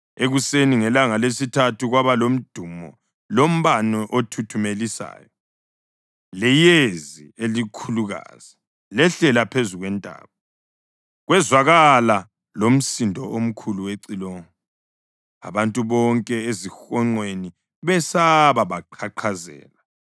Ekuseni ngelanga lesithathu kwaba lomdumo lombane othuthumelisayo, leyezi elikhulukazi lehlela phezu kwentaba, kwezwakala lomsindo omkhulu wecilongo. Abantu bonke ezihonqweni besaba, baqhaqhazela.